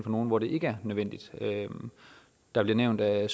nogle hvor det ikke er nødvendigt der bliver nævnt at